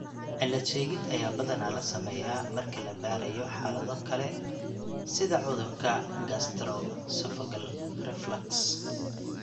Cilad-sheegid ayaa badanaa la sameeyaa marka la baarayo xaalado kale sida cudurka gastroesophageal reflux (GERD).